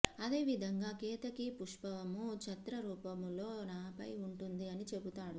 అదేవిధంగా కేతకీ పుష్పము ఛత్ర రూపము లో నాపై ఉంటుంది అని చెబుతాడు